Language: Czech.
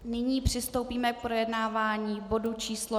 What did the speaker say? Nyní přistoupíme k projednávání bodu číslo